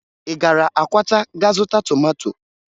Ị gara Akwata ga zụta tomato?